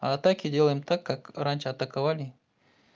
так и делаем так как раньше атаковали